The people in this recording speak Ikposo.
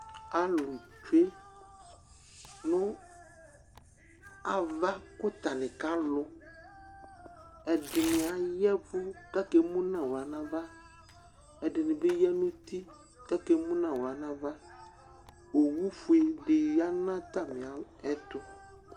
Alʋnɩ tsue nʋ ava kʋ atanɩ kalʋ Ɛdɩnɩ aya ɛvʋ kʋ akemu nʋ aɣla nʋ ava, ɛdɩnɩ bɩ ya nʋ iti kʋ akemu nʋ aɣla nʋ ava Owufue dɩ ya nʋ atamɩɛtʋ